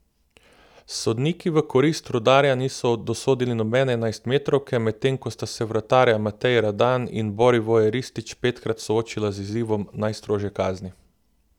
Sodniki v korist Rudarja niso dosodili nobene enajstmetrovke, medtem ko sta se vratarja Matej Radan in Borivoje Ristić petkrat soočila z izzivom najstrožje kazni.